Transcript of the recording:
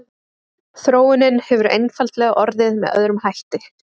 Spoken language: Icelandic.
Þróunin hefur einfaldlega orðið með öðrum hætti.